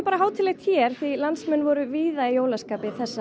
hátíðlegt hér því landsmenn voru víða í jólaskapi þessa